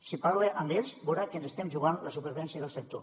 si parla amb ells veurà que ens estem jugant la supervivència del sector